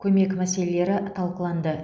көмек мәселелері талқыланды